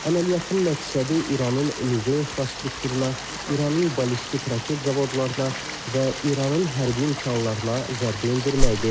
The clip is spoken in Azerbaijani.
Əməliyyatın məqsədi İranın nüvə infrastrukturuna, İranın ballistik raket zavodlarına və İranın hərbi imkanlarına zərbə endirməkdir.